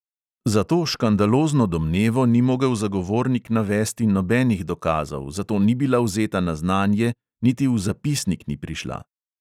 Za to škandalozno domnevo ni mogel zagovornik navesti nobenih dokazov, zato ni bila vzeta na znanje, niti v zapisnik ni prišla.